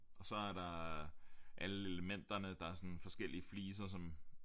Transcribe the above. Og så er der alle elementerne der er sådan forskellige fliser som